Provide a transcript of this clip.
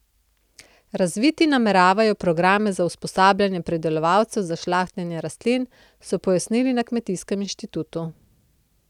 Razviti nameravajo programe za usposabljanje pridelovalcev za žlahtnjenje rastlin, so pojasnili na kmetijskem inštitutu.